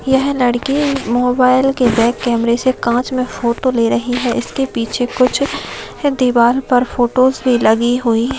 यह लड़की मोबाइल के बॅक कैमरे से काँच मे फोटो ले रही है इसके पीछे कुछ दीवार पर फोटोस भी लगी हुई --